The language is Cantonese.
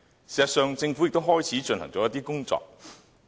事實上，政府也開始進行一些工作。